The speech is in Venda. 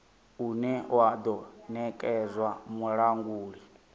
une wa do nekedzwa mulanguli